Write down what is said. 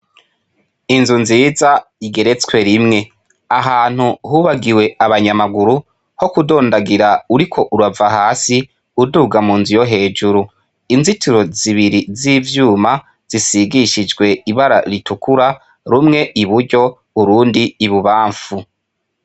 Inzu nziza igeretswe rimwe ahantu hubagiwe abanyamaguru ho kudondagira uriko urava hasi uduga mu nzu yo hejuru inzitiro zibiri z'ivyuma zisigishijwe ibara ritukura rumwe i buryo urundi ibubamfu.